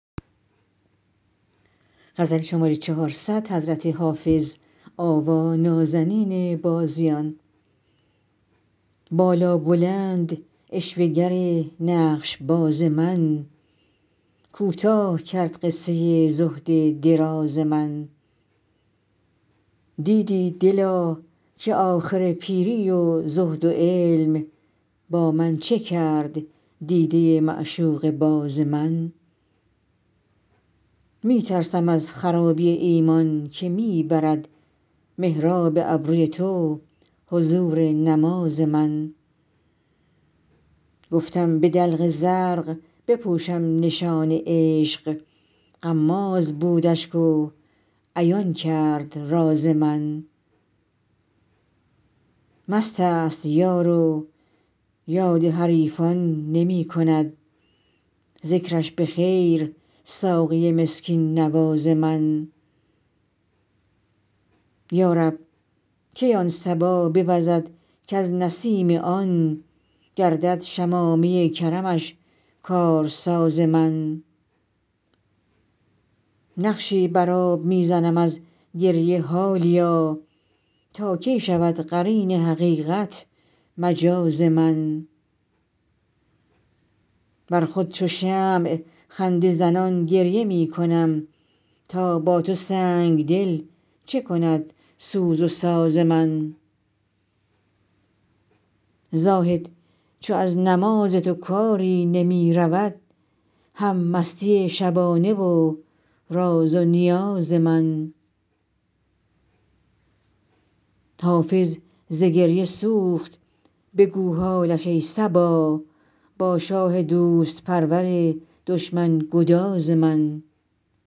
بالابلند عشوه گر نقش باز من کوتاه کرد قصه زهد دراز من دیدی دلا که آخر پیری و زهد و علم با من چه کرد دیده معشوقه باز من می ترسم از خرابی ایمان که می برد محراب ابروی تو حضور نماز من گفتم به دلق زرق بپوشم نشان عشق غماز بود اشک و عیان کرد راز من مست است یار و یاد حریفان نمی کند ذکرش به خیر ساقی مسکین نواز من یا رب کی آن صبا بوزد کز نسیم آن گردد شمامه کرمش کارساز من نقشی بر آب می زنم از گریه حالیا تا کی شود قرین حقیقت مجاز من بر خود چو شمع خنده زنان گریه می کنم تا با تو سنگ دل چه کند سوز و ساز من زاهد چو از نماز تو کاری نمی رود هم مستی شبانه و راز و نیاز من حافظ ز گریه سوخت بگو حالش ای صبا با شاه دوست پرور دشمن گداز من